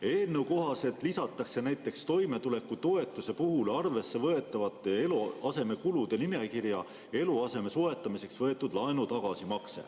Eelnõu kohaselt lisatakse näiteks toimetulekutoetuse puhul arvesse võetavate eluasemekulude nimekirja eluaseme soetamiseks võetud laenu tagasimakse.